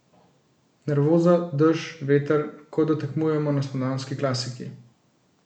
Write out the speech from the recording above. Nervoza, dež, veter, kot da tekmujemo na spomladanski klasiki.